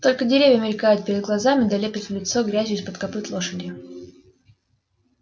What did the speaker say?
только деревья мелькают перед глазами да лепит в лицо грязью из-под копыт лошади